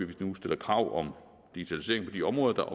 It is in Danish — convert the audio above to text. vi nu stiller krav om digitalisering på de områder der